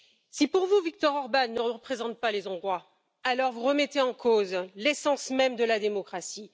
Si pour vous Viktor Orbán ne représente pas les Hongrois, alors vous remettez en cause l'essence même de la démocratie.